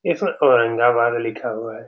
इसमें औरंगाबाद लिखा हुआ है।